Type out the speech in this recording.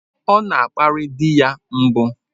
Ọ na-akparị di ya mbụ.